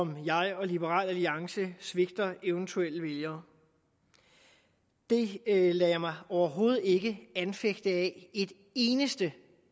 om jeg og liberal alliance svigter eventuelle vælgere det lader jeg mig overhovedet ikke anfægte af et eneste